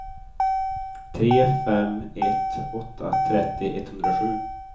tre fem ett åtta trettio etthundrasju